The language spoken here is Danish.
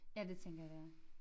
Ja det tænker jeg det er